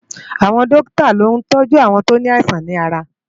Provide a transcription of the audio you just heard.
Awòn Dòkitá ló ntòjú áwòn tó ni áisàn làrá